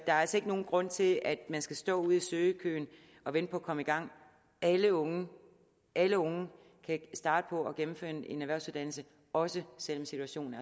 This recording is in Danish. altså ikke nogen grund til at man skal stå ude i søgekøen og vente på at komme i gang alle unge alle unge kan starte på at gennemføre en erhvervsuddannelse også selv om situationen